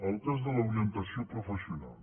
el cas de l’orientació professional